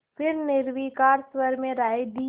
फिर निर्विकार स्वर में राय दी